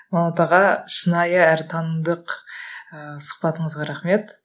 манат аға шынайы әрі танымдық ііі сұхбатыңызға рахмет